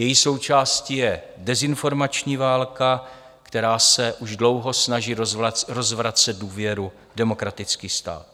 Její součástí je dezinformační válka, která se už dlouho snaží rozvracet důvěru v demokratický stát.